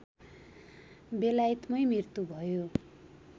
बेलायतमै मृत्यु भयो